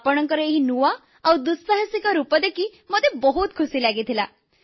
ଆପଣଙ୍କର ଏହି ନୂଆ ଆଉ ଦୁଃସାହସିକ ରୂପ ଦେଖି ମୋତେ ବହୁତ ଖୁସି ଲାଗିଲା